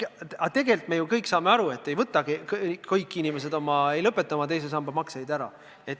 Aga tegelikult me saame ju aru, et kõik inimesed ei lõpeta oma teise samba makseid ära.